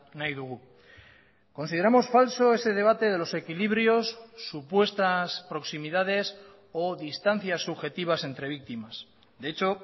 nahi dugu consideramos falso ese debate de los equilibrios supuestas proximidades o distancias subjetivas entre víctimas de hecho